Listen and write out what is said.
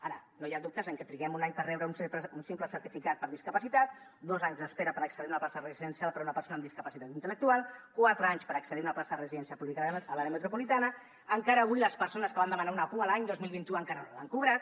ara no hi ha dubtes en que triguem un any per rebre un simple certificat per discapacitat dos anys d’espera per accedir a una plaça residencial per a una persona amb discapacitat intel·lectual quatre anys per accedir a una plaça de residència pública a l’àrea metropolitana encara avui les persones que van demanar una pua l’any dos mil vint u encara no l’han cobrat